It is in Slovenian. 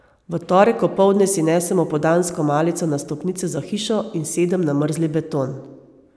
V torek opoldne si nesem opoldansko malico na stopnice za hišo in sedem na mrzli beton.